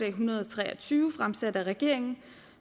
en hundrede og tre og tyve fremsat af regeringen